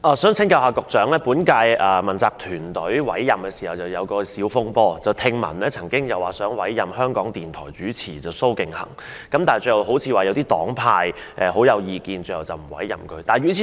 在委任本屆問責團隊時曾發生小風波，當時聽說香港電台主持蘇敬恆會獲委任，但最後好像因一些黨派有意見而沒有委任他。